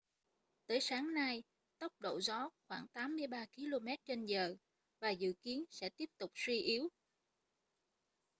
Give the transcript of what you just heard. tới sáng nay tốc độ gió khoảng 83 km/h và dự kiến sẽ tiếp tục suy yếu